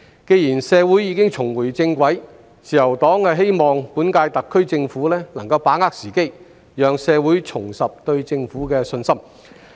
既然社會已經重回正軌，自由黨希望本屆特區政府能夠把握時機，讓社會重拾對政府的信心。